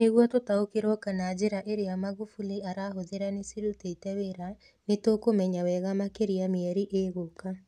Nĩguo tũtaũkĩrwo kana njĩra ĩrĩa Magufuli arahũthĩra nĩ cirutete wĩra nĩ tũkũmenya wega makĩria mĩeri ĩgũka.